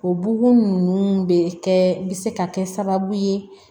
O bugun ninnu bɛ kɛ bi se ka kɛ sababu ye